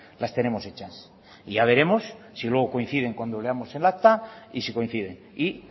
las tenemos hechas y ya veremos si luego coinciden cuando veamos el acta y si coinciden y